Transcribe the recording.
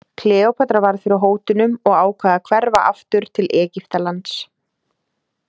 Kleópatra varð fyrir hótunum og ákvað að hverfa aftur til Egyptalands.